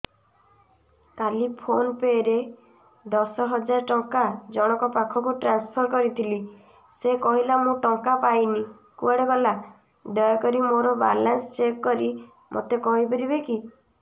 କାଲି PhonePe ରେ ଦଶ ହଜାର ଟଙ୍କା ଜଣକ ପାଖକୁ ଟ୍ରାନ୍ସଫର୍ କରିଥିଲି ସେ କହିଲା ମୁଁ ଟଙ୍କା ପାଇନି କୁଆଡେ ଗଲା ଦୟାକରି ମୋର ବାଲାନ୍ସ ଚେକ୍ କରି ମୋତେ କହିବେ କି